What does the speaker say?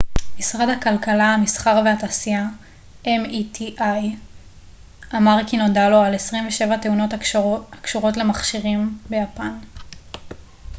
משרד הכלכלה המסחר והתעשייה meti ביפן אמר כי נודע לו על 27 תאונות הקשורות למכשירים